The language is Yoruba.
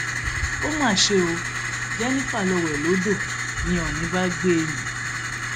ó mà ṣe ò jennifer lọọ wẹ lódò ni òní bá gbé e mì